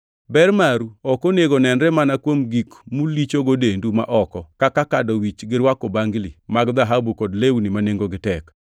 Ber maru ok onego onenre mana kuom gik mulichogo dendu ma oko: kaka kado wich gi rwako bangli mag dhahabu kod lewni ma nengogi tek.